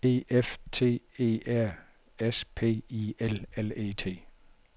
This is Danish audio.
E F T E R S P I L L E T